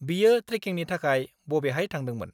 बियो ट्रेकिंनि थाखाय बबेहाय थांदोंमोन?